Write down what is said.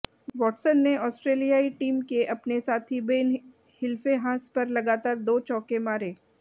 Watson ने ऑस्ट्रेलियाई team के अपने साथी बेन हिल्फेंहास पर लगातार दो चौके मारे